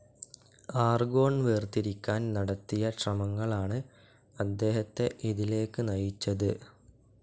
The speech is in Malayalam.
ആർഗോൺ വേർതിരിക്കാൻ നടത്തിയ ശ്രമങ്ങളാണ് അദ്ദേഹത്തെ ഇതിലേക്ക് നയിച്ചത്.